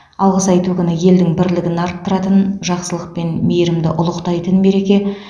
алғыс айту күні елдің бірлігін арттыратын жақсылық пен мейірімді ұлықтайтын мереке